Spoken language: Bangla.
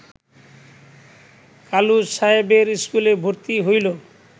কালুস সাহেবের স্কুলে ভর্তি হইল